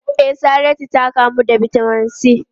E, Saratu ta kamu da Vitamin C.